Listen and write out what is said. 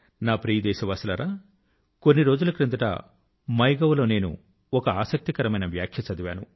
నా ప్రియ దేశవాసులారా కొన్ని రోజుల క్రిందట మైగోవ్ లో నేను ఒక ఆసక్తికరమైన వ్యాఖ్య చదివాను